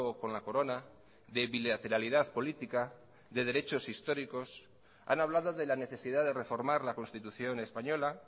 con la corona de bilateralidad política de derechos históricos han hablado de la necesidad de reformar la constitución española